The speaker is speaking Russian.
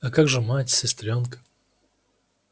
а как же мать сестрёнка